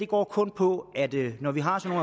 går kun på at det når vi har sådan